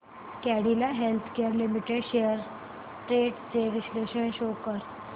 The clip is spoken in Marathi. Cadila healthcare limited shares trends चे विश्लेषण शो कर